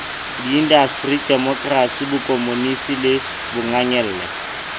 diindasteri demokrasi bokomonisi le bongangele